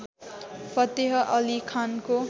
फतेह अली खानको